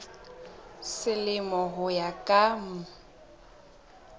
selemo ho ya ka mm